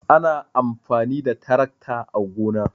ana amfani da taracta a gona